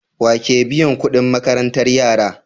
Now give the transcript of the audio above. Wake biyan Ƙudin makarantar yara